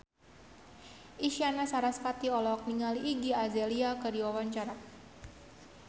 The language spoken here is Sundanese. Isyana Sarasvati olohok ningali Iggy Azalea keur diwawancara